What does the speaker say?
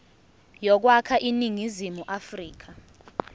yokwakha iningizimu afrika